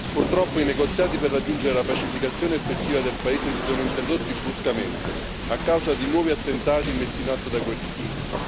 Purtroppo i negoziati per raggiungere la pacificazione effettiva del paese si sono interrotti bruscamente a causa di nuovi attentati messi in atto dai guerriglieri.